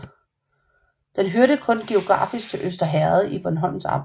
Den hørte kun geografisk til Øster Herred i Bornholms Amt